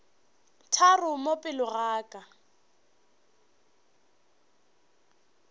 tharo mo pele ga ka